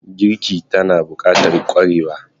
Girki tana bukatar kwarewa